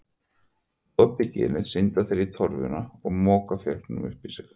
Með opið ginið synda þeir í torfuna og moka fiskinum upp í sig.